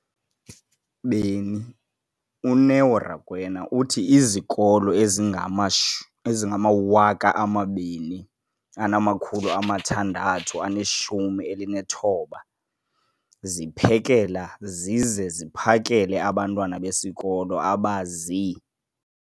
beni, uNeo Rakwena, uthi izikolo ezingama ezingama-20 619 ziphekela zize ziphakele abantwana besikolo abazi-